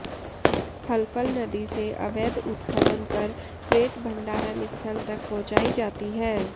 हलफल नदी से अवैध उत्खनन कर रेत भण्डारण स्थल तक पहुंचाई जाती है